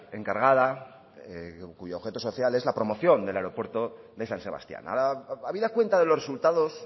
encargada cuyo objeto social es la promoción del aeropuerto de san sebastián habida cuenta de los resultados